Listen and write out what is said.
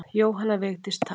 Jóhanna Vigdís: Takk.